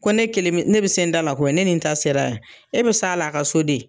Ko ne kelen bi ne bi se n da la koyi, ne nin ta sera yan, e bi s'a la a ka so de.